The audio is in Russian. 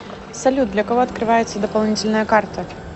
салют для кого открывается дополнительная карта